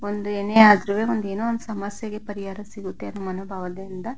ಒಂದು ಏನೆ ಆದ್ರುವೇ ಏನೋ ಒಂದು ಸಮಸ್ಯಕೆ ಪರಿಹಾರ ಸಿಗುತ್ತೆ ಅನ್ನೋ ಮನೋಭಾವದಿಂದ --